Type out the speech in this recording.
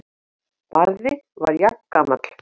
Barði var jafngamall